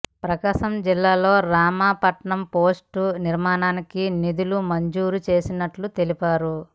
ప్రకాశం జిల్లాలో రామాయపట్నం పోర్టు నిర్మాణానికి నిధులు మంజూరు చేసినట్టు తెలిపారు